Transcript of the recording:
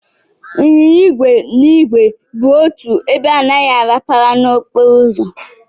Ịnyịnya igwe na igwe kwụ otu ebe anaghị arapara n'okporo ụzọ.